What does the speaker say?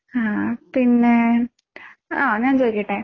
ആ പിന്നെ ആ ഞാൻ ചോദിക്കട്ടെ?